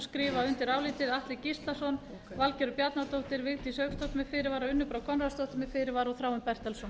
skrifa undir álitið atli gíslason valgerður bjarnadóttir vigdís hauksdóttir með fyrirvara unnur brá konráðsdóttir með fyrirvara og þráinn bertelsson